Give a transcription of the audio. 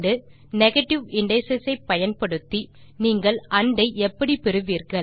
negative indices ஐ பயன்படுத்தி நீங்கள் ஆண்ட் ஐ எப்படி பெறுவீர்கள்